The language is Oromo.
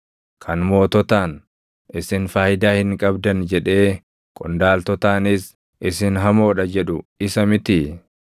Kan moototaan, ‘Isin faayidaa hin qabdan;’ jedhee qondaaltotaanis, ‘Isin hamoo dha’ jedhu isa mitii?